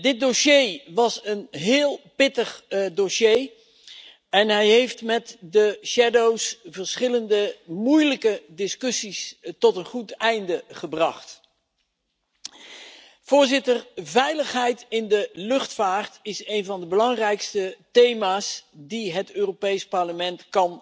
Dit was een heel pittig dossier en hij heeft met de schaduwrapporteurs verschillende moeilijke discussies tot een goed einde gebracht. Veiligheid in de luchtvaart is een van de belangrijkste thema's die het Europees Parlement